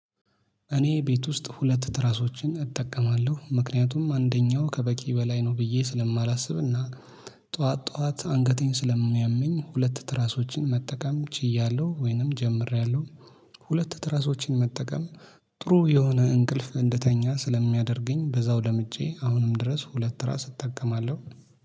እኔ ቤት ውስጥ ሁለት ትራሶችን እጠቀማለሁ ምክንያቱም አንደኛው ከበቂ በላይ ነው ብዬ ስለማላስብና ጠዋት ጠዋት አንገቴን ስለሚያመኝ ሁለት ትራሶችን መጠቀም ችያለሁ ወይንም ጀምሬያለሁ። ሁለት ትራሶችን መጠቀም ጥሩ የሆነ እንቅልፍ እንደተኛ ስለሚያደርገኝ በዛው ለምጄ አሁንም ድረስ ሁለት ራስ እጠቀማለሁ።